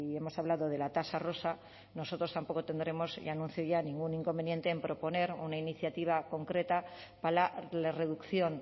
hemos hablado de la tasa rosa nosotros tampoco tendremos ya anuncio ya ningún inconveniente en proponer una iniciativa concreta para la reducción